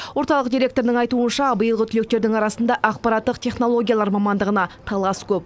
орталық директорының айтуынша биылғы түлектердің арасында ақпараттық технологиялар мамандығына талас көп